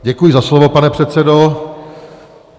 Děkuji za slovo, pane předsedo.